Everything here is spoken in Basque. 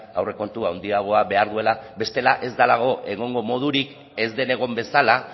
aurrekontu handiagoa behar duela bestela ez delako egongo modurik ez den egon bezala